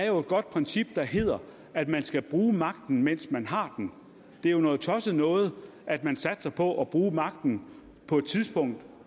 er et godt princip der hedder at man skal bruge magten mens man har den det er jo noget tosset noget at man satser på at bruge magten på et tidspunkt